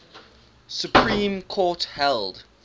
supreme court held